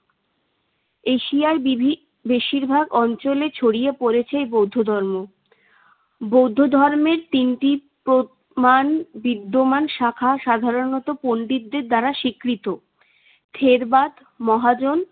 এশিয়ার বিভি~ বেশিরভাগ অঞ্চলে ছড়িয়ে পড়েছে এ বৌদ্ধ ধর্ম। বৌদ্ধ ধর্মে তিনটি প্র~ মাণ বিদ্যমান শাখা। সাধারণত পন্ডিতদের দ্বারা স্বীকৃত। থেরবাদ, মহাজন